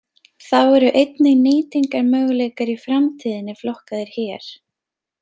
Þá eru einnig nýtingarmöguleikar í framtíðinni flokkaðir hér.